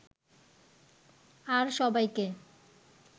আর সবাইকে